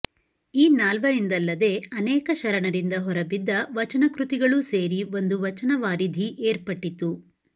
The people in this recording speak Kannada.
ಈ ನಾಲ್ವರಿಂದಲ್ಲದೆ ಅನೇಕ ಶರಣರಿಂದ ಹೊರಬಿದ್ದ ವಚನಕೃತಿಗಳೂ ಸೇರಿ ಒಂದು ವಚನವಾರಿಧಿ ಏರ್ಪಟ್ಟಿತು